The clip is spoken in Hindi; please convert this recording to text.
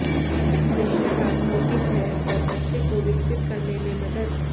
मुख्य बात नोटिस है और बच्चे को विकसित करने में मदद